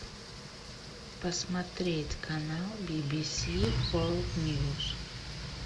посмотреть канал би би си ворлд ньюс